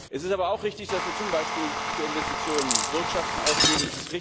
Es ist aber auch richtig, dass wir zum Beispiel für Investitionen Bürgschaften ausgeben.